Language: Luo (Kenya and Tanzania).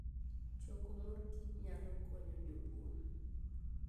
Choko mor kich nyalo konyo jopur.